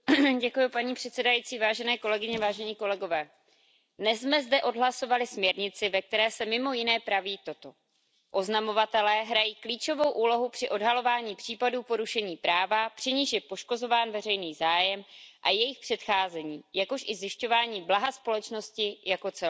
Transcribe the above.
Paní předsedající, dnes jsme zde odhlasovali směrnici, ve které se mimo jiné praví toto Oznamovatelé hrají klíčovou úlohu při odhalování případů porušení práva, při nichž je poškozován veřejný zájem, a jejich předcházení, jakož i zajišťování blaha společnosti jako celku.